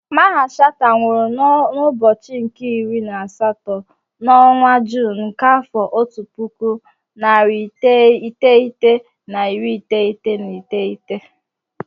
Mamman Shatta nwụrụ n'ụbọchị nke iri na asatọ n'ọnwa Juun nke afọ otu puku, narị iteghete na iri iteghete na iteghete.